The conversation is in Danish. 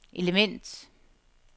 element